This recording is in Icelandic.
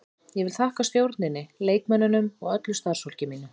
Ég vil þakka stjórninni, leikmönnunum og öllu starfsfólki mínu.